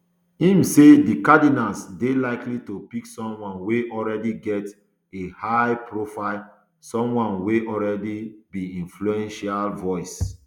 im say di cardinals dey likely to pick someone wey already get a high profile someone wey already be influential voice